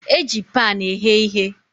Eji pan eghe ihe.